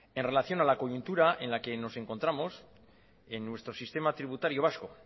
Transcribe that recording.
en relación a la coyuntura en la que nos encontramos en nuestro sistema tributario vasco